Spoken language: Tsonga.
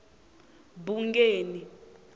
bungeni